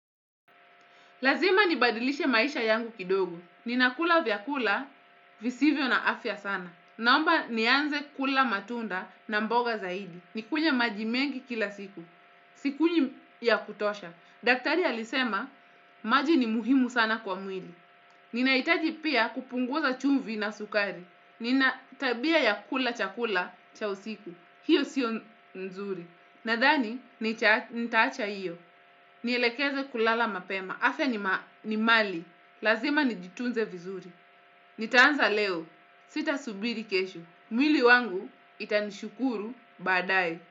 Lazima nibadilishe maisha yangu kidogo. Ninakula vyakula visivyo na afya sana. Naomba nianze kula matunda na mboga zaidi. Nikunywe maji mengi kila siku. Sikunywi ya kutosha. Daktari alisema maji ni muhimu sana kwa mwili. Ninahitaji pia kupunguza chumvi na sukari. Nina tabia ya kula chakula cha usiku. Hiyo sio nzuri. Nadhani nitaacha iyo. Nielekeze kulala mapema. Afya ni mali, lazima nijitunze vizuri. Nitaanza leo, sitasubiri kesho. Mwili wangu itanishukuru badae.